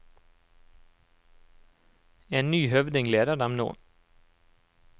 En ny høvding leder dem nå.